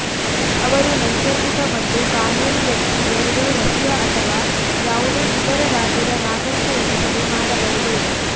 ಅವರು ನೈಸರ್ಗಿಕ ಮತ್ತು ಕಾನೂನು ವ್ಯಕ್ತಿ ಎರಡೂ ರಶಿಯಾ ಅಥವಾ ಯಾವುದೇ ಇತರ ರಾಜ್ಯದ ನಾಗರಿಕ ಎನಿಸಿದೆ ಮಾಡಬಹುದು